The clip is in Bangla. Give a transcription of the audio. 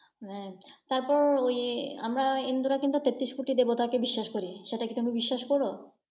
হ্যাঁ! তারপর ওই আমরা হিন্দুরা কিন্তু তেত্রিশ কোটিকে দেবতা করি, সেটা কি তুমি বিশ্বাস কর?